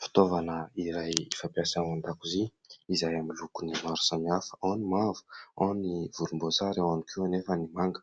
Fitaovana iray fampiasa ao an-dakozia izay amin'ny lokony maro samihafa, ao ny mavo, ao ny volomboasary, ao ihany koa anefa ny manga.